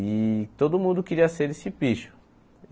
E todo mundo queria ser desse picho.